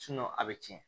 a bɛ tiɲɛ